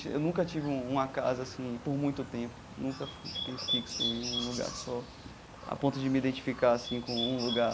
Eu nunca tive uma casa assim por muito tempo, nunca fiquei fixo em um lugar só, a ponto de me identificar assim com um lugar.